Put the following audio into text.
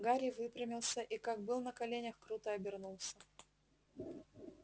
гарри выпрямился и как был на коленях круто обернулся